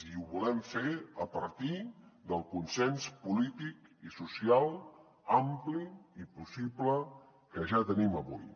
i ho volem fer a partir del consens polític i social ampli i possible que ja tenim avui